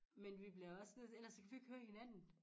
Men vi bliver også nødt til ellers så kan vi ikke høre hinanden